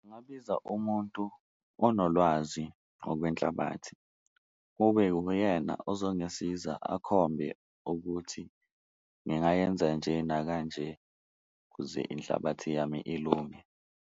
Ngabiza umuntu onolwazi ngokwenhlabathi kube uyena ozongisiza akhombe ukuthi ngingayenza nje nakanje kuze inhlabathi yami ilunge.